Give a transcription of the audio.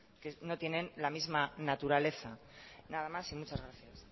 que no tienen la misma naturaleza nada más y muchas gracias